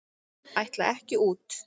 Ætla ekki út